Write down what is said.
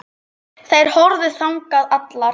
Þær horfðu þangað allar.